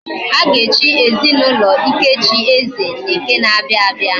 Aga echi ezinaulo Ikechi, eze, na eke na abia abia